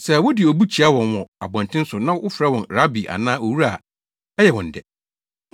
Sɛ wode obu kyia wɔn wɔ abɔnten so na wofrɛ wɔn ‘Rabi’ anaa ‘Owura’ a ɛyɛ wɔn dɛ.